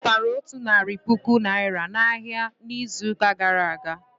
Ọ zụtaraotu narị puku Naịra n'ahịa ahịa n'izuụka gara aga.